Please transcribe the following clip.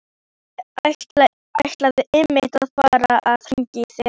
Ég ætlaði einmitt að fara að hringja í þig.